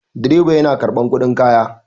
Direba yana karɓar kuɗin kaya.